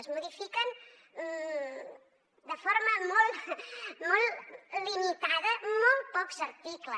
es modifiquen de forma molt limitada molt pocs articles